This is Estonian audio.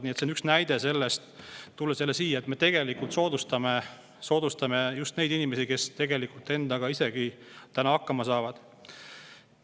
Nii et see on üks näide sellest – tulen selle juurde tagasi –, et me tegelikult anname soodustusi just nendele inimestele, kes tegelikult endaga ise hakkama saavad.